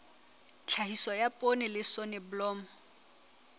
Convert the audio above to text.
tlhahiso ya poone le soneblomo